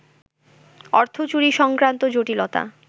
অর্থচুরি সংক্রান্ত জটিলতা